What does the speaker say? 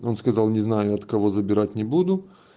он сказал не знаю от кого забирать не буду